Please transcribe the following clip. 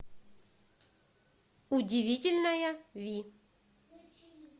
удивительная ви